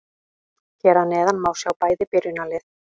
Hér að neðan má sjá bæði byrjunarlið.